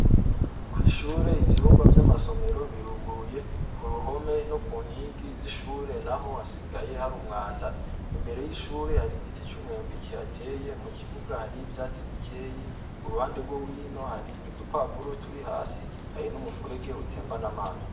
Kw'Ishure ivyumba vy'amasomero bituguruye, k'uruhome noku nkingi zishure Naho hasigaye hari umwanda, imbere y'ishure hari Igiti c'umwembe kihateye, mukibuga hari ivyatsi bikeya, kuruhande rwohino hari udupapuro turi hasi, hari numufuregi utembana Amazi.